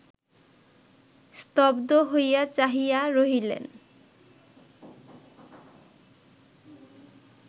স্তব্ধ হইয়া চাহিয়া রহিলেন